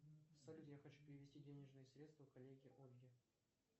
салют я хочу перевести денежные средства коллеге ольге